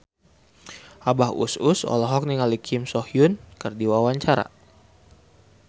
Abah Us Us olohok ningali Kim So Hyun keur diwawancara